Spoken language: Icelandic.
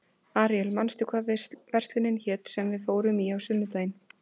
Aríel, manstu hvað verslunin hét sem við fórum í á sunnudaginn?